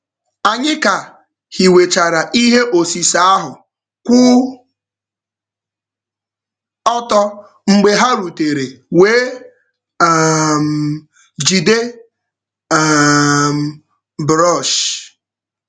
Anyị ka hiwechara ihe osise ahụ kwụ ọtọ mgbe ha rutere wee um jide um brọọsh.